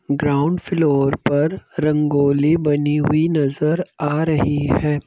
Ground floor पर रंगोली बनी हुई नजर आ रही है।